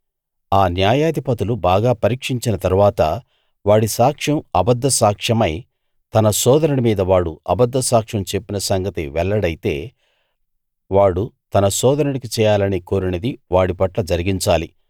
ఆ న్యాయాధిపతులు బాగా పరీక్షించిన తరువాత వాడి సాక్ష్యం అబద్ధసాక్ష్యమై తన సోదరుని మీద వాడు అబద్ధసాక్ష్యం చెప్పిన సంగతి వెల్లడైతే వాడు తన సోదరునికి చేయాలని కోరినది వాడి పట్ల జరిగించాలి